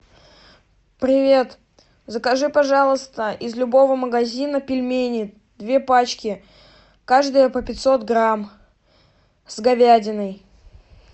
привет закажи пожалуйста из любого магазина пельмени две пачки каждая по пятьсот грамм с говядиной